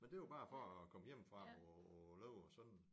Men det var bare for at komme hjemmefra og og leve sådan